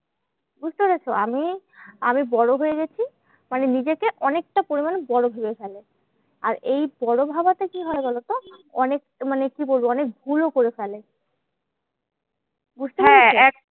বুঝতে পেরেছো? আমি বড় হয়ে গেছি মানে নিজেকে অনেকটা পরিমান বড় ভেবে ফেলে। আর এই বড় ভাবাতে কি হয় বলোতো? অনেক মানে কি বলবো? অনেক ভুলও করে ফেলে।